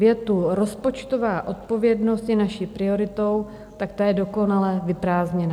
Věta "rozpočtová odpovědnost je naší prioritou" tak ta je dokonale vyprázdněná.